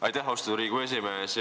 Aitäh, austatud Riigikogu esimees!